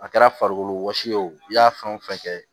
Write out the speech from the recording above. A kɛra farikolo wɔsi ye o i y'a fɛn o fɛn kɛ